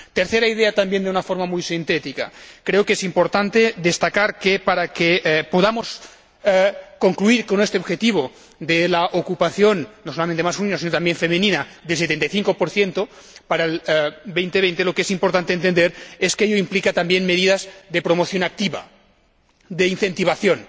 Tercera idea, de una forma también muy sintética creo que es importante destacar que, para que podamos lograr este objetivo de la ocupación no solamente masculina, sino también femenina, del 75 para el 2020, lo que es importante entender es que ello implica también medidas de promoción activa, de incentivación,